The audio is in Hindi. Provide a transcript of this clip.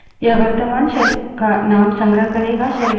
यह वर्त्तमान shell का name संग्रह करेगा